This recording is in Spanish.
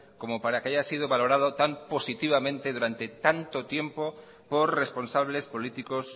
como para que haya sido valorado tan positivamente durante tanto tiempo por responsables políticos